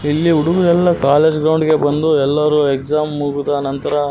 ಇಲ್ಲಿ ಹುಡುಗ್ರೆಲ್ಲ college ground ಗೆ ಬಂದು ಎಲ್ಲರು ಎಕ್ಸಾಮ್ ಮುಗಿದ ನಂತರ --